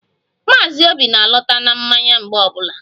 Maazi obi na-alọta na mmanya mgbe ọbụla